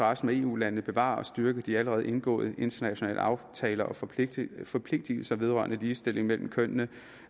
resten af eu landene bevare og styrke de allerede indgåede internationale aftaler og forpligtelser forpligtelser vedrørende ligestilling mellem kønnene